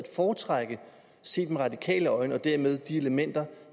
foretrække set med radikale øjne og dermed de elementer